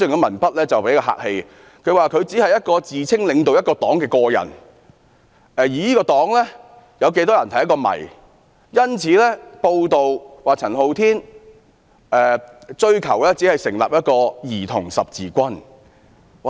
文中指出："他只是一個自稱領導一個黨的個人，而這個黨有多少成員是一個謎"。因此，該報道指陳浩天只是追求成立一個"兒童十字軍"。